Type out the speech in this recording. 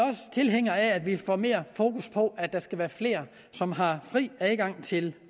tilhængere af at vi får mere fokus på at der skal være flere som har fri adgang til